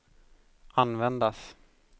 användas